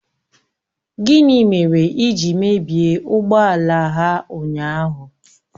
Gịnị mere ị ji mebie ụgbọ ala ha ụnyahụ?